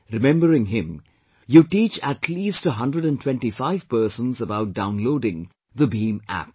Remembering him, you teach at least 125 persons about downloading the BHIM App